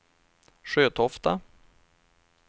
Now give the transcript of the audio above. Sjötofta